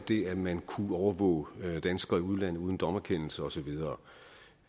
det at man kunne overvåge danskere i udlandet uden dommerkendelser og så videre